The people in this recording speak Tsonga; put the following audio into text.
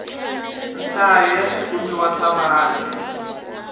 nhlayo ya swikumiwa swa vanhu